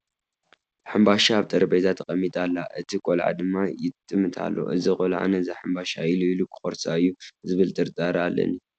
ሕንባሻ ኣብ ጠረጴዛ ተቐሚጣ ኣላ፡፡ እቲ ቆልዓ ድማ ይጥምታ ኣሎ፡፡ እዚ ቆልዓ ነዛ ሕምባሻ ኢሉ ኢሉ ክቖርሳ እዩ ዝብል ጥርጣረ ኣለኒ፡፡